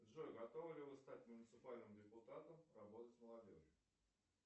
джой готовы ли вы стать муниципальным депутатом работать с молодежью